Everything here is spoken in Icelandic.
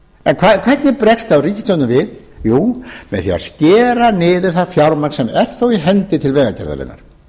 en hvernig bregst þá ríkisstjórnar við jú með því að skera niður það fjármagn sem er þó í hendi til vegagerðarinnar